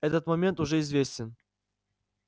этот момент уже известен